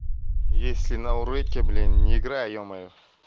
если на уроке блин не играй ёмаё